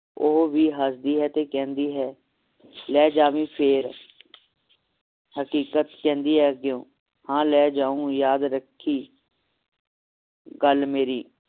ਉਹ ਵੀ ਹਸਦੀ ਹੈ ਤੇ ਕਹਿੰਦੀ ਹੈ ਲੈ ਜਾਵੀ ਫੇਰ ਹਕੀਕਤ ਕਹਿੰਦੀ ਹੈ ਅੱਗਿਓਂ ਹਾਂ ਲੈ ਜਾਊ ਯਾਦ ਰੱਖੀ ਗੱਲ ਮੇਰੀ